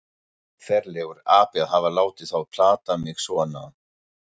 Ferlegur api að hafa látið þá plata mig svona.